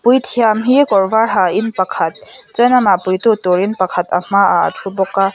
puithiam hi kawr var ha in pakhat chuan amah puitu turin pakhat a hma ah a thu bawk a.